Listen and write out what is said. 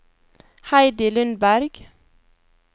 Heidi Lundberg